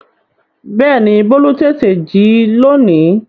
Bẹ́ẹ̀ni Bólú tètè jí lónìí